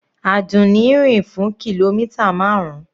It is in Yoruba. Àdùnní rìn fún kìlómítà marun.